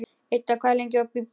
Idda, hvað er lengi opið í Byko?